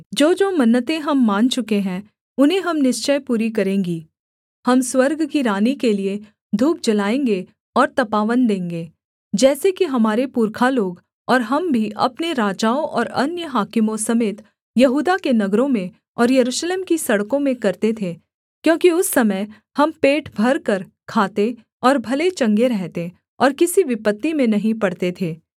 जोजो मन्नतें हम मान चुके हैं उन्हें हम निश्चय पूरी करेंगी हम स्वर्ग की रानी के लिये धूप जलाएँगे और तपावन देंगे जैसे कि हमारे पुरखा लोग और हम भी अपने राजाओं और अन्य हाकिमों समेत यहूदा के नगरों में और यरूशलेम की सड़कों में करते थे क्योंकि उस समय हम पेट भरकर खाते और भले चंगे रहते और किसी विपत्ति में नहीं पड़ते थे